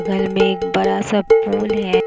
घर में एक बड़ा सा पुल है।